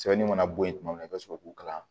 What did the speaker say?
Sɛbɛnni ka bo yen tuma min i bɛ sɔrɔ k'u kalan